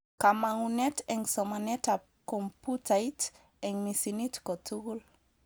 Kamangunet eng somanetab komputait eng misinit kotugul